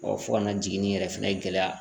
fo ka na jiginni yɛrɛ fɛnɛ gɛlɛya